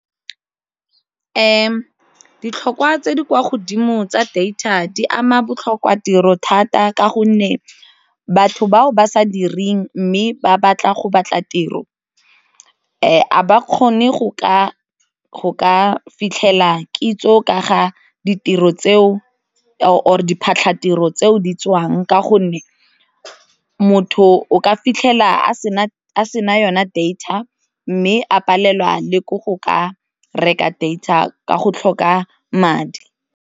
Ditlhokwa tse di kwa godimo tsa data di ama botlhokwa tiro thata ka gonne batho bao ba sa direng mme ba batla go batla tiro a ba kgone go ka fitlhela kitso ka ga ditiro tseo or diphatlhatiro tseo di tswang ka gonne motho o ka fitlhela a se na yona data mme a palelwa le ko go ka reka data ka go tlhoka madi.